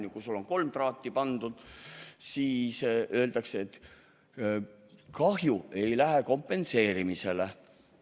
Ja kui sul on kolm traati pandud, siis öeldakse, et kahju ei lähe kompenseerimisele.